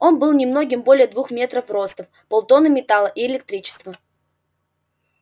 он был немногим более двух метров ростом полтонны металла и электричества